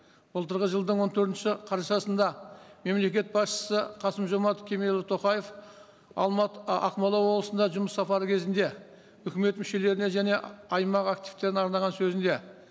былтырғы жылдың он төртінші қарашасында мемлекет басшысы қасым жомарт кемелұлы тоқаев а ақмола облысында жұмыс сапары кезінде үкімет мүшелеріне және аймақ активтеріне арнаған сөзінде